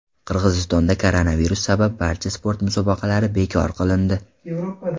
Qirg‘izistonda koronavirus sabab barcha sport musobaqalari bekor qilindi.